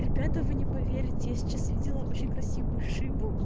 ребята вы не поверите я сейчас видела очень красивую шину